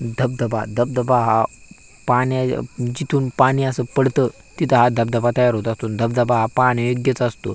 धबधबा धबधबा हा पाण्या जिथून पाणी अस पडत तिथ हा धबधबा तयार होतो धबधबा हा पाहणे योग्यच असतो.